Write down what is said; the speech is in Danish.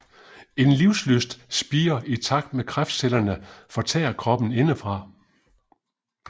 En livslyst spirer i takt med kræftcellerne fortærer kroppen indefra